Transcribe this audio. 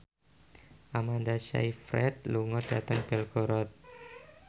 Amanda Sayfried lunga dhateng Belgorod